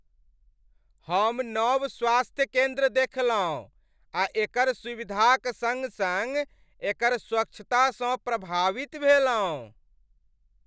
हम नव स्वास्थ्य केन्द्र देखलहुँ आ एकर सुविधाक सङ्ग सङ्ग एकर स्वच्छतासँ प्रभावित भेलहुँ।